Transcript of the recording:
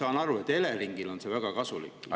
Ma saan aru, et Eleringile on see väga kasulik, riigile ka.